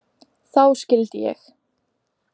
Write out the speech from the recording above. Þá skildi ég.